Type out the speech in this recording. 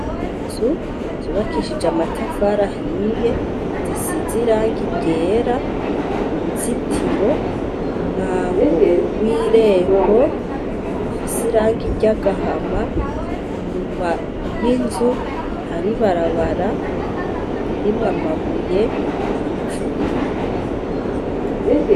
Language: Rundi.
Inzu zubakishije amatafari ahiye zisize irangi ryera uruzitiro umwango w'irembo ufise irangi ry'agahama inyuma y'inzu hari ibarabara ririmwo amabuye n'ivu.